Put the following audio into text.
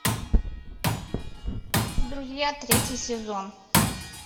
друзья третий сезон